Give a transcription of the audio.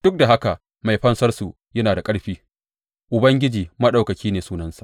Duk da haka Mai Fansarsu yana da ƙarfi; Ubangiji Maɗaukaki ne sunansa.